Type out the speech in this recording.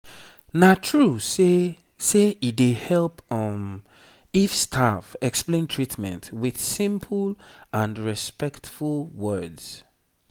na true say say e dey help um if staff explain treatment with simple and respectful words